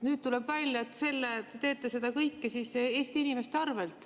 Nüüd tuleb välja, et te teete seda kõike siis Eesti inimeste arvel.